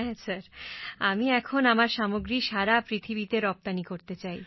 হ্যাঁ স্যার আমি এখন আমার সামগ্রী সারা পৃথিবীতে রপ্তানি করতে চাই